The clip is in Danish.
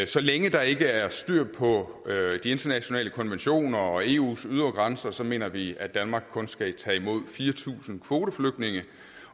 så længe der ikke er styr på de internationale konventioner og eus ydre grænser mener vi at danmark kun skal tage imod fire tusind kvoteflygtninge